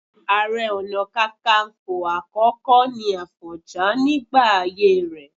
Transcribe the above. Ààrẹ Ọ̀nà Kakaǹfò àkọ́kọ́ ni Àfọ̀njá nígbà ayé rẹ̀